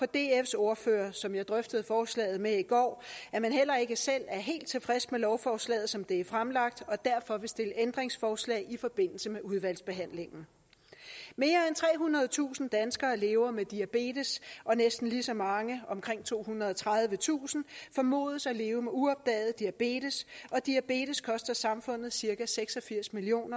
dfs ordfører som jeg drøftede forslaget med i går at man heller ikke selv er helt tilfreds med lovforslaget som det er fremlagt og derfor vil stille ændringsforslag i forbindelse med udvalgsbehandlingen mere end trehundredetusind danskere lever med diabetes og næsten lige så mange omkring tohundrede og tredivetusind formodes at leve med uopdaget diabetes og diabetes koster samfundet cirka seks og firs million